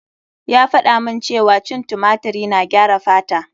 Ya faɗa mun cewa cin tumatiri na gyara fata.